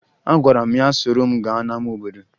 Agwara m ya soro m gaa n'ama obodo